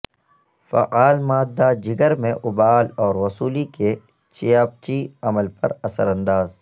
فعال مادہ جگر میں ابال اور وصولی کے چیاپچی عمل پر اثر انداز